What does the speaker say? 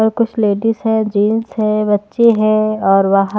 और कुछ लेडिस है जेंट्स है बच्चे हैं और वह--